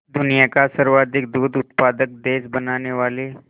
दुनिया का सर्वाधिक दूध उत्पादक देश बनाने वाले